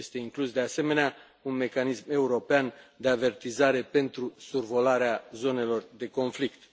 Este inclus, de asemenea, un mecanism european de avertizare pentru survolarea zonelor de conflict.